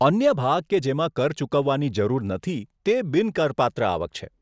અન્ય ભાગ કે જેમાં કર ચૂકવવાની જરૂર નથી તે બિન કરપાત્ર આવક છે.